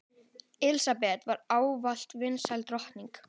Elísabet var ávallt vinsæl drottning.